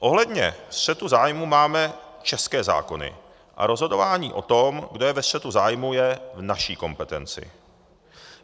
Ohledně střetu zájmu máme české zákony a rozhodování o tom, kdo je ve střetu zájmu je v naší kompetenci.